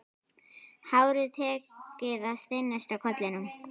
Hárið tekið að þynnast á kollinum.